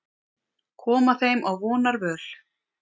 Koma þeim á vonarvöl.